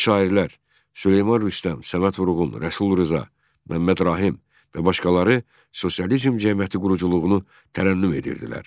Gənc şairlər Süleyman Rüstəm, Səməd Vurğun, Rəsul Rza, Məmməd Rahim və başqaları sosializm cəmiyyəti quruculuğunu tərənnüm edirdilər.